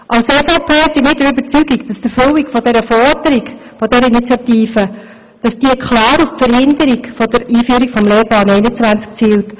Als EVP sind wir der Überzeugung, die Forderung der Initiative ziele klar auf eine Verhinderung der Einführung des Lehrplans 21 ab.